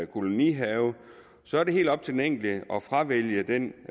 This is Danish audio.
kolonihave så er det helt op til den enkelte at fravælge den